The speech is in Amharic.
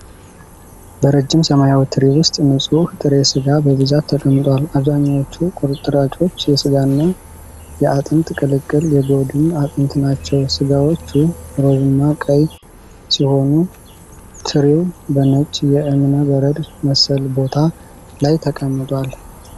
በረጅም ሰማያዊ ትሪ ውስጥ ንጹህ ጥሬ ሥጋ በብዛት ተቀምጧል። አብዛኞቹ ቁርጥራጮች የስጋና የአጥንት ቅልቅል የጎድን አጥንት ናቸው። ስጋዎቹ ሮዝማ ቀይ ሲሆኑ፣ ትሪው በነጭ የእብነ በረድ መሰል ቦታ ላይ ተቀምጧል።